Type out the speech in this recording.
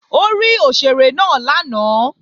Ó rí òṣèré náà lánàá